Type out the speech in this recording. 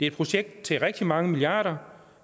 et projekt til rigtig mange milliarder